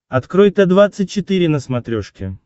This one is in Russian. открой т двадцать четыре на смотрешке